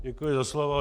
Děkuji za slovo.